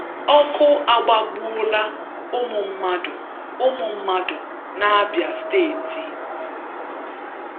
Ọkụ agbagbuola ụmụ mmadụ ụmụ mmadụ n'Abịa steeti